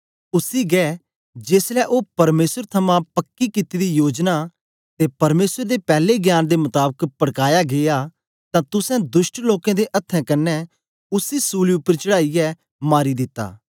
उसी गै जेसलै ओ परमेसर थमां पक्की कित्ती दी योजना ते परमेसर दे पैले ज्ञान दे मताबक पड़काया गीया तां तुसें दुष्ट लोकें दे अथ्थें कन्ने उसी सूली उपर चढ़ाईयै मारी दिता